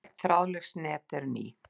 Öll þráðlaus net eru ný.